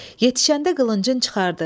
Yetişəndə qılıncın çıxardı.